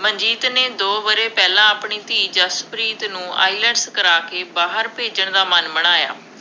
ਮਨਜੀਤ ਨੇ ਦੋ ਵਰ੍ਹੇ ਪਹਿਲਾਂ ਆਪਣੀ ਧੀ ਜਸਪ੍ਰੀਤ ਨੂੰ IELTS ਕਰਵਾ ਕੇ, ਬਾਹਰ ਭੇਜਣ ਦਾ ਮਨ ਬਣਾਇਆ